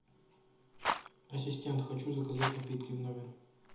ассистент хочу заказать напитки в номер